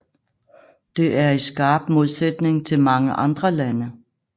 Det er i skarp modsætning til mange andre lande